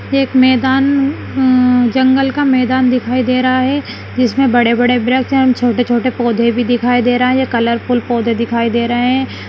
एक मैदान अम्म अम्म जंगल का मैदान दिखाई दे रहा है जिसमें बड़े-बड़े वृक्ष हैं और छोटे-छोटे पौधे भी दिखाई दे रहे हैं कलरफुल पौधे भी दिखाई दे रहे हैं।